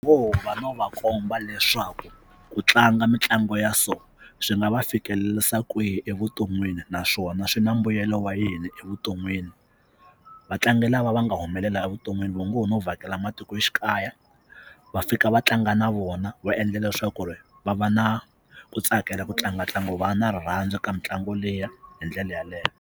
No va komba leswaku ku tlanga mitlangu ya so swi nga va fikelerisa kwihi evuton'wini naswona swi na mbuyelo wa yini evuton'wini vatlangi lava va nga humelela evuton'wini vo ngo no vhakela matikoxikaya va fika va tlanga na vona va endla leswaku ku ri va va na ku tsakela ku tlanga ntlangu va na rirhandzu ka mitlangu liya hi ndlela yaleyo.